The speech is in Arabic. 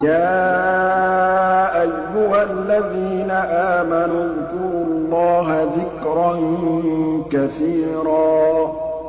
يَا أَيُّهَا الَّذِينَ آمَنُوا اذْكُرُوا اللَّهَ ذِكْرًا كَثِيرًا